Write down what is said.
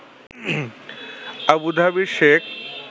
আবুধাবির Sheikh